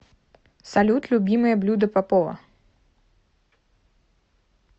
салют любимое блюдо попова